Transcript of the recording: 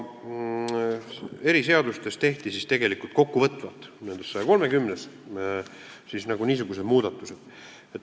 Eri seadustes tehti, nendes 130-s, niisugused muudatused.